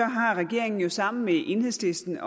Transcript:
har regeringen jo sammen med enhedslisten